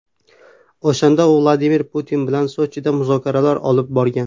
O‘shanda u Vladimir Putin bilan Sochida muzokaralar olib borgan.